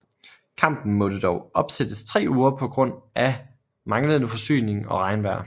Kampen måtte dog opsættes 3 uger på grund af manglende forsyning og regnvejr